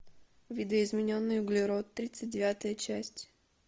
видоизмененный углерод тридцать девятая часть